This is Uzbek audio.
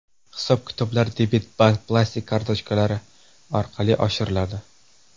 Hisob-kitoblar debet bank plastik kartochkalari orqali amalga oshiriladi.